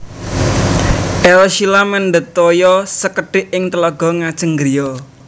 Eros Shila mendhet toya sekedhik ing telaga ngajeng griya